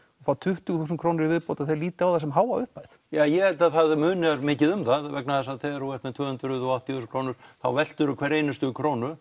fá tuttugu þúsund krónur í viðbót að þeir líti á það sem háa upphæð ja ég held að það muni mikið um það vegna þess að þegar þú ert með tvö hundruð og áttatíu þúsund krónur þá veltiru hverri einustu krónu